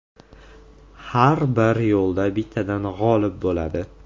Har bir yo‘lda bittadan g‘olib bo‘ladi.